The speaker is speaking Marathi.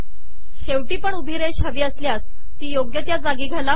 शेवटी पण उभी रेष हवी असल्यास ती योग्य त्या जागी घाला